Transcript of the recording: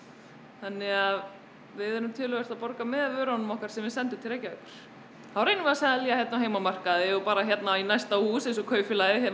þannig að við erum töluvert að borga með vörunum okkar sem við sendum til Reykjavíkur þá reynum við að selja hér á heimamarkað og bara hérna í næsta hús eins og kaupfélagið hér á